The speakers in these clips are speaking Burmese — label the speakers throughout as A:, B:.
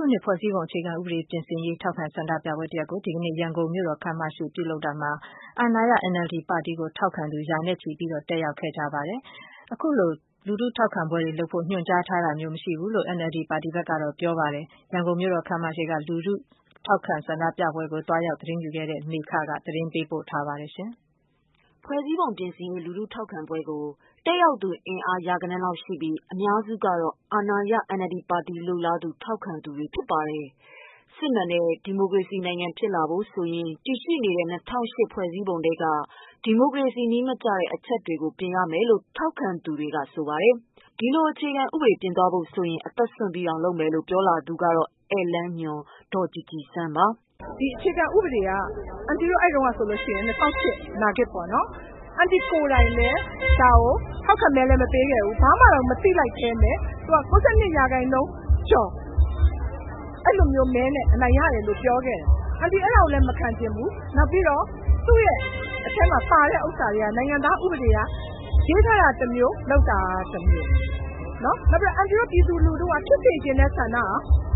A: ုနှစ် ဖွဲ့စည်းပုံအခြေခံဥပဒေ ပြင်ဆင်ရေး ထောက်ခံဆန္ဒပြပွဲတရပ်ကို ရန်ကုန်မြို့တော် ခန်းမရှေ့ ဒီကနေ့ ပြုလုပ်ရာမှာ အာဏာရ NLD ပါတီကို ထောက်ခံသူ တွေတက်ရာက်ခဲ့ပေမယ့် NLD ပါတီကတော့ ဒီလို လူထုထောက်ခံပွဲတွေလုပ်ဖို့ ညွှန်ကြားထားတာမျိုး မရှိဘူးလို့ ပြောပါတယ်။ ရန်ကုန်မြို့တော်ခန်းမရှေ့က လူထုထောက်ခံဆန္ဒပြပွဲကို သွားရောက်သတင်းယူခဲ့တဲ့ မမေခ သတင်းပေးပို့ထားပါတယ်။ ဖွဲ့စည်းပုံပြင်ရေး လူထုထောက်ခံပွဲကို တက်ရောက်သူ အများစုဟာ အာဏာရ NLD ပါတီလိုလားသူ ထောက်ခံသူတွေ ဖြစ်ကြပါတယ်။ စစ်မှန်တဲ့ ဒီမိုကရေစီနိုင်ငံဖြစ်လာဖို့ဆိုရင် တည်ရှိနေတဲ့ ၂၀၀၈ ဖွဲ့စည်းပုံထဲက ဒီမိုကရေစီနည်းမကျတဲ့ အချက်တွေကို ပြင်ဆင်ရမယ်လို့ ထောက်ခံဆန္ဒပြသူတွေက ပြောပါတယ်။ ဒီလို အခြေခံဥပဒေပြင်သွားဖို့ဆိုရင် အသက်စွန့်ပြီးတောင် လုပ်မယ်လို့ ပြောလာသူက ဧည့်လမ်းညွှန် ဒေါ်ကြည်ကြည်စန်းပါ။ "ဒီအခြေခံဥပဒေက အန်တီတို့အဲဒီတုန်းကဆိုရ
B: င် ၂၀၀၈ နာဂစ်ပေါ့နော် အန်တီ ကိုယ်တိုင်လည်း ဒါကို ထောက်ခံမဲလည်းမပေးခဲ့ဘူး ဘာမှကို မသိလိုက်ဘူး ။ အဲဒါကို ၉၂ ရာခိုင်နှုန်းကျော် အဲလိုမျိုးမဲနဲ့ အနိုင်ရတယ်လို့ ပြောခဲ့တယ် အန်တီ အဲဒါကိုလည်း မခံချင်ဘူး။ နောက်ပြီးတော့ သူ့အထဲမှာ ပါတဲ့ဟာတွေက နိုင်ငံသားဥပဒေက ရေးထားတာတမျိုး လုပ်တာတမျိုး ။ နောက်ပြီးတော့ အန်တီတို့ ပြည်သူလူထုက ဖြစ်စေချင်တဲ့ ဆန္ဒက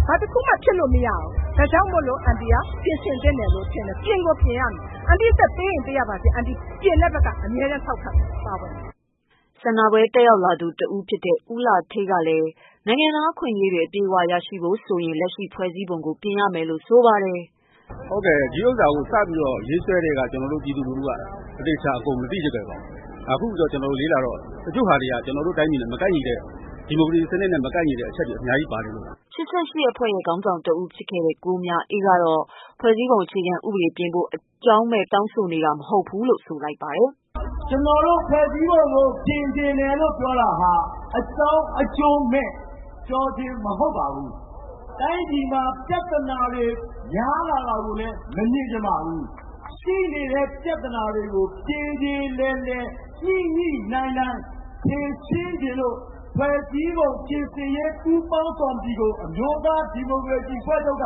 B: ဘာတခုမှ ဖြစ်လို့မရဘူး ဒါကြောင့်မို့ အန်တီတို့က ပြင်ဆင်သင့်တယ်လို့ ထင်တယ် ပြင်ကို ပြင်ရမယ် ။ အန်တီအသက်ပေးရင် ပေးရပါစေ အန်တီက ပြင်တဲ့ဘက်က အမြဲထောက်ခံမယ်။
A: " ဆန္ဒပြပွဲ တတ်ရောက်သူတဦးဖြစ်တဲ့ ဦးလှဌေးကလည်း နိုင်ငံသားအခွင့်အရေးတွေ အပြည့်အဝရဖို့ဆိုရင် လက်ရှိဖွဲ့စည်းပုံကို ပြင်ရမယ်လို့ ဆိုပါတယ်။ "ဟုတ်ကဲ့ ဒီဟာကို စပြီးတော့ ရေးဆွဲကတည်းက ကျနော်တို့ ပြည်သူတွေက ဒါကိုမသိလိုက်ဘူး။ အခုလေ့လာတော့ တချို့ဟာတွေက ကျနော်တို့ တိုင်းပြည်နဲ့ မကိုက်ညီတဲ့ ဒီမိုကရေစီ စနစ်နဲ့ မကိုက်ညီတဲ့ အချက်တွေ အများကြီးပါနေလို့ပါ။" ၈၈ အဖွဲ့ရဲ့ ခေါင်းဆောင်တဦးဖြစ်ခဲ့တဲ့ ကိုမြအေးကတော့ ဖွဲ့စည်းပုံအခြေခံဥပဒေပြင်ဖို့ အကြောင်းမဲ့ တောင်းဆိုနေတာမဟုတ်ဘူးလို့ ပြောပါတယ်။ "ကျနော်တို့ဖွဲ့စည်းပုံ ကို ပြင်ချင်တယ်လို့ ပြော
C: တာဟာ အကြောင်းအကျိုးမဲ့ ပြောချင်းမဟုတ်ပါဘူး။ တိုင်းပြည်မှာ ပြဿနာတွေ များလာတာကိုလည်း မမြင်ချင်ပါဘူး။ ရှိနေတဲ့ ပြဿနာတွေကို ပြေပြေလည်လည် ညှိညှိနှိုင်းနှိုင်းဖြေရှင်းချင်လို့ ဖွဲ့စည်းပုံပြင်ဆင်ရေး ပူးပေါင်းကော်မတီကို အမျိုးသားဒီမိုကရေ
A: စီအဖွဲ့ချုပ်က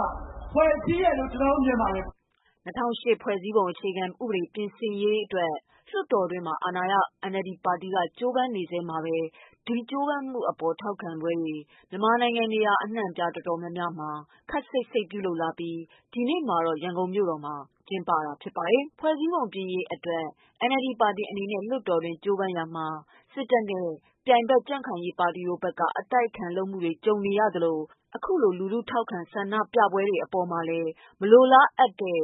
A: ဖွဲ့စည်းတယ်လို့ ကျနော်တို့ မြင်ပါတယ်။" ၂၀၀၈ ဖွဲ့စည်းပုံပြင်ဆင်ရေးအတွက် လွှတ်တော်တွင်းမှာ အာဏာရ NLD ပါတီက ကြိုးပမ်းနေချိန်မှာပဲ၊ ဒီ ကြိုးပမ်းမှုအပေါ် ထောက်ခံပွဲတွေကို မြန်မာနိုင်ငံနေရာ အတော်များများမှာ ခပ်စိတ်စိတ်ပြုလုပ်လာပြီး၊ ဒီနေ့မှာတော့ ရန်ကုန်မှာ ကျင်းပကြတာပါ။ ဖွဲ့စည်းပုံပြင်ရေးအတွက် NLD ပါတီအနေနဲ့ လွှတ်တော်အတွင်း ကြိုးပမ်းရာမှာ စစ်တပ်နဲ့ ပြိုင်ဖက်ကြံခိုင်ရးပါတီတို့ဖက်က အတိုက်အခံလုပ်မှုတွေ ကြုံရသလိုပဲ၊ အခုလို လူထု ထောက်ခံဆန္ဒပြပွဲတွေလုပ်တဲ့အပေါ်မှာလည်း မလိုအပ်တဲ့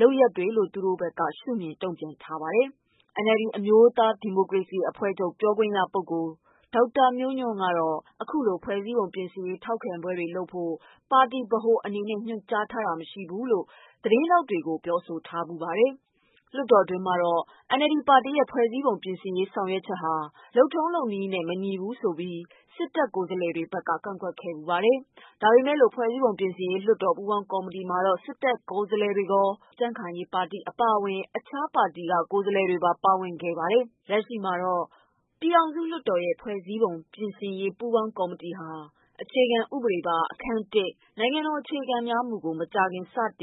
A: လုပ်ရပ်တွေလို့ သူတို့ ရှုမြင် တုံ့ပြန်ထားပါတယ်။ NLD အမျိုးသားဒီမိုကရေစီအဖွဲ့ချုပ် ပြောခွင့်ရသူ ဒေါက်တာမျိုးညွှန့် ကတော့ အခုလို ဖွဲ့စည်းပုံပြင်ရေး ထောက်ခံပွဲတွေလုပ်ဖို့ ပါတီဗဟိုအနေနဲ့ ညွှန်ကြားထားတာမရှိဘူးလို့ သတင်းထောက်တွေကို ပြောဆိုထားဖူးပါတယ်။ လွှတ်တော်တွင်းမှာတော့ NLD ပါတီရဲ့ ဖွဲ့စည်းပုံပြင်ရေးဆောင်ရွက်ချက်ဟာ လုပ်ထုံး လုပ်နည်းနဲ့ မညီဘူးလို့ စစ်တပ်ကိုယ်စားလှယ်တွေဖက်က ကန့်ကွက်ခဲ့ပါတယ်။ ဒါပေမယ့်လို့ ဖွဲ့စည်းပုံပြင်ရေး လွှတ်တော် ပူးပေါင်ကော်မတီမှာတော့ စစ်တပ်ကိုယ်စားလှယ်တွေရော ကြံံခိုင်ရေးအပါအဝင် အခြားပါတီက ကိုယ်စားလှယ်တွပါ ပါဝင်ခဲ့ပါတယ်။ လက်ရှိမှာတော့ ပြည်ထောင်စုလွှတ်တော်ရဲ့ ဖွဲ့စည်းပုံပြင်ဆင်ရေး ပူးပေါင်းကော်မတီဟာ အခြေခံဥပဒေပါ အခန်း၁၊ နိုင်ငံတော်အခြေခံမူတွေကို မကြာခင် စတင်